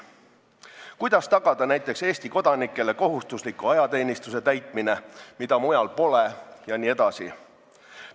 Kuidas tagada näiteks Eesti kodanikele kohustusliku ajateenistuse täitmine, mida mujal pole, jne?